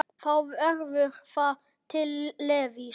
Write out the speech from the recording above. Þá verður það til Levís.